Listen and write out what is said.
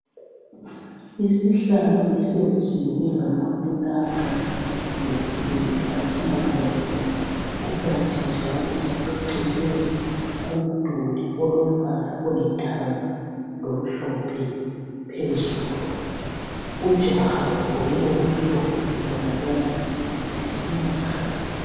Isihlalo esiyenziwe ngamapulanka lensimbi asilamuntu kukanti njalo siseceleni komduli olombala olithanga lomhlophe phezulu ujaha ogqoke okumhlophe ubonakala esiza.